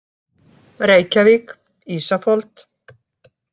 Reykjavík, Ísafold.